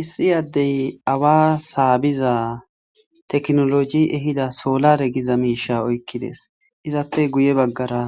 Issi addey awa saabiza tekinolojey ehida solare giza miishsha oykkides. Izappe guye baggara